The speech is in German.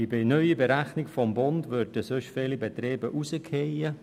Bei der neuen Berechnung des Bundes würden sonst viele Betriebe herausfallen.